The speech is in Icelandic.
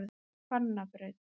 Hvannabraut